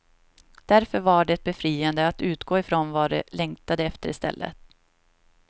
Därför var det befriande att utgå ifrån vad de längtade efter i stället.